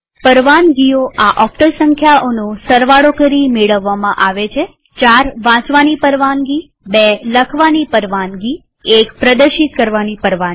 પરવાનગીઓ આ ઓક્ટલ સંખ્યાઓનો સરવાળો કરી મેળવવામાં આવે છે ૪ વાંચવાની પરવાનગી ૨ લખવાની પરવાનગી ૧ પ્રદર્શિત કરવાની પરવાનગી